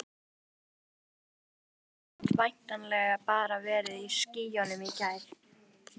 Erla Hlynsdóttir: Og væntanlega bara verið í skýjunum í gær?